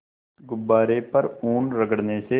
गुब्बारे पर ऊन रगड़ने से